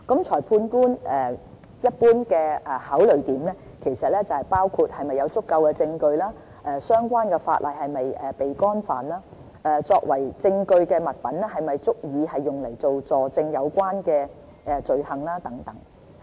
裁判官一般的考慮，包括是否有足夠證據，相關法例是否已被干犯，以及作為證據的物品是否足以用來佐證有關的罪行等。